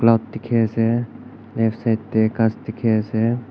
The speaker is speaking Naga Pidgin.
diki ase left side de kas diki ase.